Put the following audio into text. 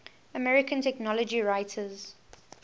american technology writers